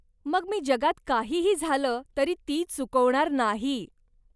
मग मी जगात काहीही झालं तरी ती चुकवणार नाही.